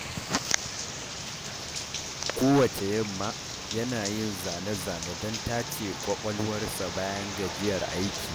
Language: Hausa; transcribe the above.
Kowacce yamma, yana yin zane-zane don tace ƙwaƙwalwarsa bayan gajiyar aiki.